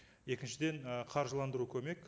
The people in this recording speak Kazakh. екіншіден ы қаржыландыру көмек